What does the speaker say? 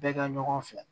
Bɛɛ ka ɲɔgɔn fɛ